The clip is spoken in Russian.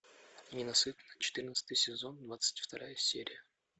ненасытная четырнадцатый сезон двадцать вторая серия